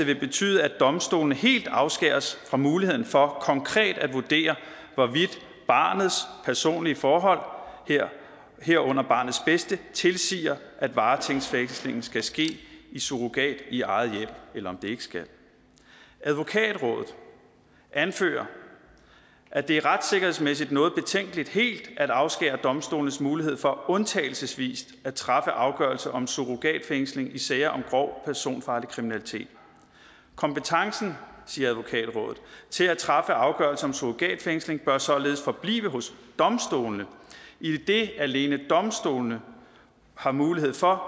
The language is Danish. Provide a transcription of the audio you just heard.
vil betyde at domstolene helt afskæres fra muligheden for konkret at vurdere hvorvidt barnets personlige forhold herunder barnets bedste tilsiger at varetægtsfængslingen skal ske i surrogat i eget hjem eller om den ikke skal advokatrådet anfører at det retssikkerhedsmæssigt er noget betænkeligt helt at afskære domstolenes mulighed for undtagelsesvis at træffe afgørelser om surrogatfængsling i sager om grov personfarlig kriminalitet kompetencen siger advokatrådet til at træffe afgørelser om surrogatfængsling bør således forblive hos domstolene idet alene domstolene har mulighed for